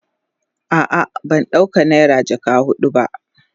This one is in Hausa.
A'a ban dauka naira jaka hudun ba.